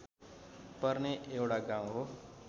पर्ने एउटा गाउँ हो